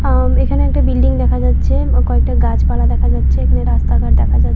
আম এখানে একটা বিল্ডিং দেখা যাচ্ছে কয়েকটা গাছপালা দেখা যাচ্ছে এখানে রাস্তাঘাট দেখা যা--